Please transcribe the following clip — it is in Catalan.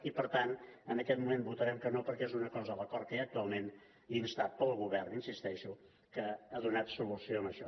i per tant en aquest moment votarem que no perquè és una cosa l’acord que hi ha actualment instat pel govern hi insisteixo que ha donat solució a això